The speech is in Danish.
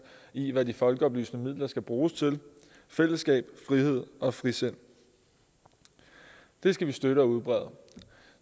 i hvad de folkeoplysende midler skal bruges til fællesskab frihed og frisind det skal vi støtte og udbrede